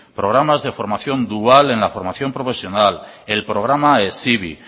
programas de formación dual en la formación profesional el programa hezibi